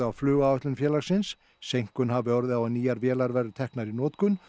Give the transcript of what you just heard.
á flugáætlun félagsins seinkun hafi orðið á að nýjar vélar væru teknar í notkun